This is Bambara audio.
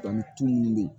Dɔnkili tu min bɛ yen